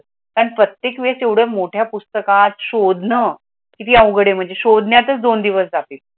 प्रत्येक वेळेस एवढ्या मोठ्या पुस्तकात शोधणे किती अवघडे म्हणजे शोधण्यातच दोन दिवस जातील.